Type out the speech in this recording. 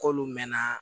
K'olu mɛnna